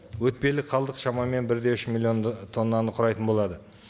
өтпелі қалдық шамамен бір де үш миллион ы тоннаны құрайтын болады